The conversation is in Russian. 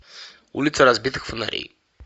улица разбитых фонарей